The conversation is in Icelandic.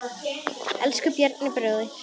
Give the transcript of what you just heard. Elsku Bjarni bróðir.